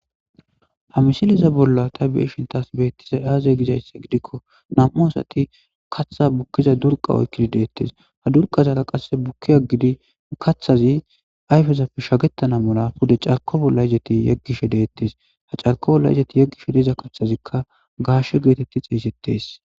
ha misiliza bolla ta beeshintas beettiza aaze gizaysse gidikko nam7u asati katha bukkiza durqa oykkidi deettes ha durqazaala qasse bukki aggidi kathazi ayfezapf shagettana mula pude carko bolla izeti yeggishe deettes ha carko bolla izeti yeggishe deiza kathazikka gaashshe geetetti xeeysettes